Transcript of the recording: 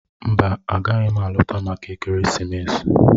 Mba, agaghị m alọta maka ekeresimesi.